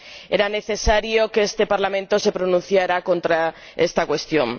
Era necesario que este Parlamento se pronunciara contra esta cuestión.